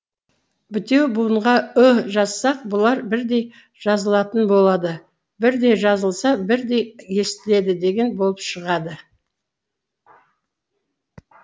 бітеу буынға ы жазсақ бұлар бірдей жазылатын болады бірдей жазылса бірдей естіледі деген болып шығады